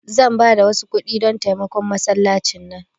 Zan bada wasu kudi dan taimakon masallaci nan.